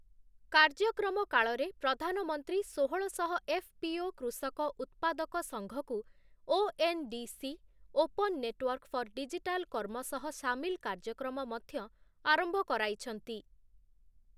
କାର୍ଯ୍ୟକ୍ରମ କାଳରେ ପ୍ରଧାନମନ୍ତ୍ରୀ ଷୋହଳଶହ ଏଫ୍‌ପିଓ କୃଷକ ଉତ୍ପାଦକ ସଂଘକୁ ONDC open network for digital କର୍ମ ସହ ସାମିଲ କାର୍ଯ୍ୟକ୍ରମ ମଧ୍ୟ ଆରମ୍ଭ କରାଇଛନ୍ତି ।